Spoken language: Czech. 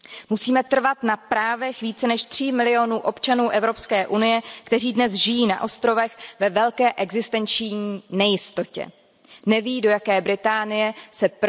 Musíme trvat na právech více než tří milionů občanů EU, kteří dnes žijí na ostrovech ve velké existenční nejistotě. Neví, do jaké Británie se